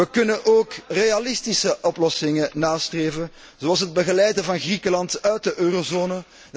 We kunnen ook realistische oplossingen nastreven, zoals het begeleiden van Griekenland uit de eurozone.